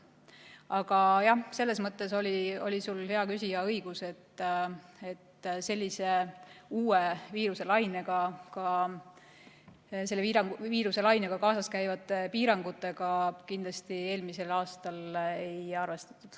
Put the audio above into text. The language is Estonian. Aga jah, selles mõttes oli sul, hea küsija, õigus, et sellise uue viiruselainega ja ka selle lainega kaasaskäivate piirangutega kindlasti eelmisel aastal ei arvestatud.